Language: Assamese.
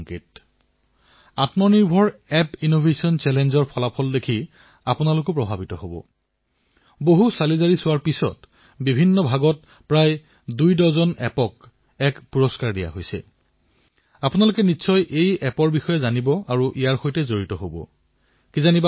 এতিয়া আপুনি চিন্তা কৰক এনে এখনৰ দেশৰ ঐতিহ্য যি ইমান মহান মহান পৰম্পৰা বৈচিত্ৰতা বিশাল যুব আবাদী তেনে এখন দেশৰ খেলাসামগ্ৰীৰ বজাৰত অংশীদাৰীত্ব ইমান কম এয়া ভাল কথা নে নিশ্চয় নহয় এয়া শুনি আপোনাৰো ভাল নালাগিব